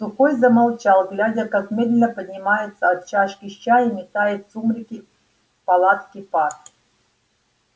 сухой замолчал глядя как медленно поднимается от чашки с чаем и тает в сумраке палатки пар